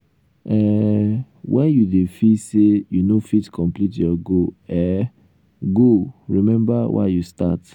um wen you dey feel say you no fit complete your goal um goal um remember why you start.